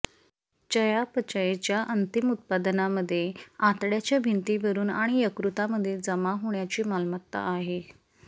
चयापचयच्या अंतिम उत्पादनांमध्ये आतड्याच्या भिंती वरून आणि यकृतामध्ये जमा होण्याची मालमत्ता आहे